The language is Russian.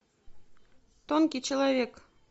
тонкий человек